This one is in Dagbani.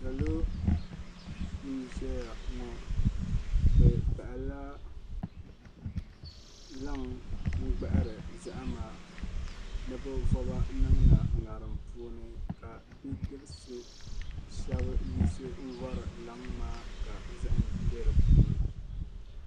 salo n-ʒeya ŋɔ bɛ bahi la laŋ n-gbahiri zahima ni bɛ voba n-niŋ na ŋarim puuni ka bidibisi shɛba n-yiɣisi n-vari laŋ maa ka zahim be di puuni.